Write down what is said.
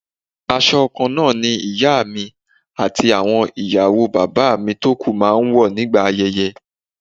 Aṣọ kan náà ni ìyá mi àti àwọn ìyàwó bàbá mi tó kú máa ń wọ̀ nígbà ayẹyẹ